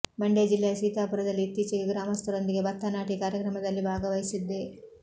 ಮಂಡ್ಯ ಜಿಲ್ಲೆಯ ಸೀತಾಪುರದಲ್ಲಿ ಇತ್ತೀಚೆಗೆ ಗ್ರಾಮಸ್ಥರೊಂದಿಗೆ ಭತ್ತ ನಾಟಿ ಕಾರ್ಯಕ್ರಮದಲ್ಲಿ ಭಾಗವಹಿಸಿದ್ದೆ